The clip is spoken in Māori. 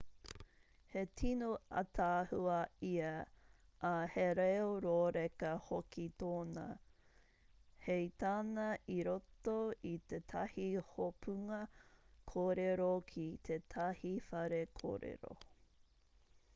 he tino ātaahua ia ā he reo rōreka hoki tōna hei tāna i roto i tētahi hopunga kōrero ki tētahi whare kōrero